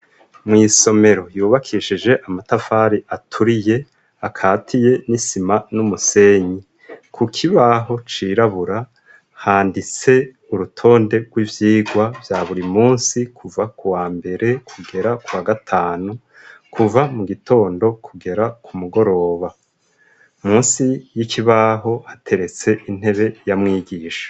Mw'isomero yubakishije amatafari aturiye, akatie n'isima n'umusenyi. Ku kibaho cirabura handitse urutonde rw'ivyigwa vya buri munsi, kuva ku wa mbere kugera kwa gatanu kuva mu gitondo kugera ku mugoroba. Munsi y'ikibaho hateretse intebe ya mwigisha.